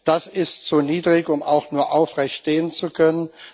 Das ist zu niedrig, um auch nur aufrecht stehen zu können.